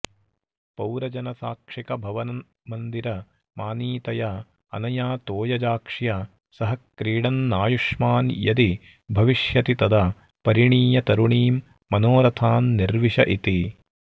पौरजनसाक्षिकभवन्मन्दिरमानीतया अनया तोयजाक्ष्या सह क्रीडन्नायुष्मान् यदि भविष्यति तदा परिणीय तरुणीं मनोरथान्निर्विशऽ इति